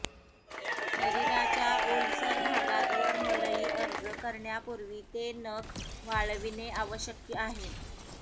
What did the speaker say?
शरीराच्या ओलसर भागात वर मलई अर्ज करण्यापूर्वी ते नख वाळविणे आवश्यक आहे